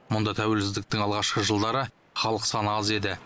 мұнда тәуелсіздіктің алғашқы жылдары халық саны аз еді